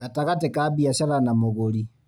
Gatagatĩ ka biacara na mũgũri